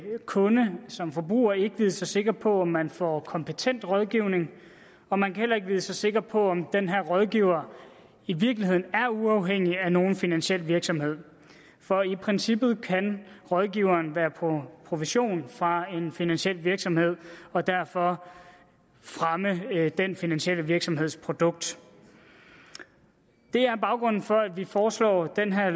kunde som forbruger ikke vide sig sikker på om man får kompetent rådgivning og man kan heller ikke vide sig sikker på om den her rådgiver i virkeligheden er uafhængig af nogen finansiel virksomhed for i princippet kan rådgiveren være på provision fra en finansiel virksomhed og derfor fremme den finansielle virksomheds produkt det er baggrunden for at vi foreslår den her